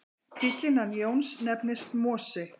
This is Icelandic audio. Bíllinn hans Jóns nefnist Mosi.